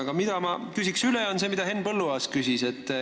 Aga ma küsin üle seda, mida küsis Henn Põlluaas.